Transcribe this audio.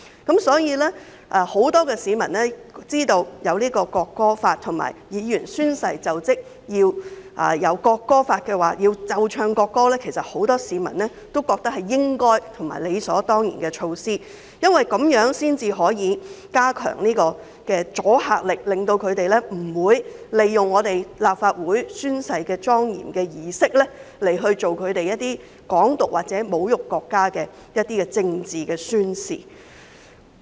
因此，很多市民知道會制定《條例草案》及規定立法會議員宣誓就職時奏唱國歌後，均覺得是應該和理所當然的，因為這樣才能加強阻嚇力，避免有人利用立法會宣誓的莊嚴儀式作出"港獨"或侮辱國家的政治宣示。